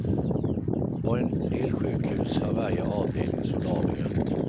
På en del sjukhus har varje avdelning solarier.